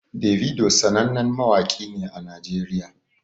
Davido sanannen mawaƙi ne a najeriya